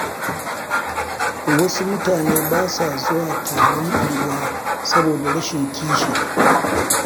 Wasu mutane ba sa zuwa taron unguwa saboda rashin kishi.